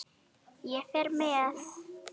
Ég fer með